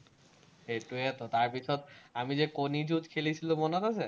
সেইটোৱেতো, তাৰপিচত, আমি যে কণী যুজ খেলিছিলো, মনত আছে?